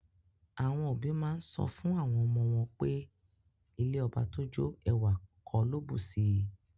Awon obi maa n so fun awon omo won pe ilẹ̀ ọbà tó jó, èwà kò ló bùṣí.